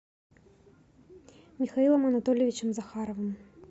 михаилом анатольевичем захаровым